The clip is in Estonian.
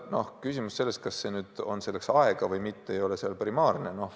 Küsimus, kas on selleks aega või mitte, ei ole primaarne.